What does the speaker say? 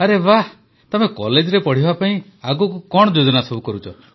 ଆରେ ବାଃ ତମେ କଲେଜରେ ପଢ଼ିବା ପାଇଁ ଆଗକୁ କଣ ଯୋଜନା କରୁଛ